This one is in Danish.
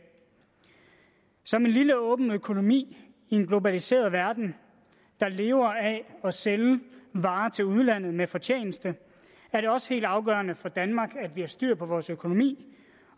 som en lille åben økonomi i en globaliseret verden der lever af at sælge varer til udlandet med fortjeneste er det også helt afgørende for danmark at vi har styr på vores økonomi